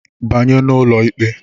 Banye n'ụlọ ikpe!